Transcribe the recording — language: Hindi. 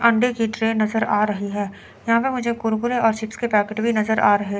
अंडे की ट्रे नजर आ रही है यहां पे मुझे कुरकुरे और चिप्स के पैकेट भी नजर आ रहे--